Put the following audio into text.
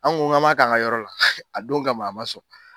An kun ko k'an ma k'a ka yɔrɔ la, a don kama a ma sɔn.